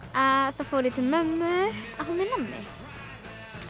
þá fór ég til mömmu að fá mér nammi